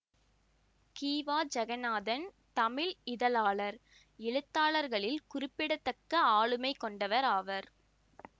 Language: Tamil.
கி வா ஜகந்நாதன் தமிழ் இதழாளர் எழுத்தாளர்களில் குறிப்பிடத்தக்க ஆளுமை கொண்டவர் ஆவர்